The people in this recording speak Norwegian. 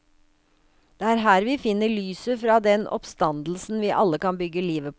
Det er her vi finner lyset fra den oppstandelsen vi alle kan bygge livet på.